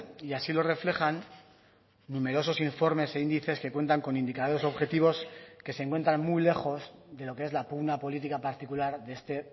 y así lo reflejan numerosos informes e índices que cuentan con indicadores objetivos que se encuentran muy lejos de lo que es la pugna política particular de este